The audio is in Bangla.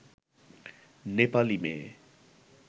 নেপালী মেয়ে